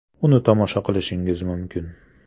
Uni tomosha qilishingiz mumkin.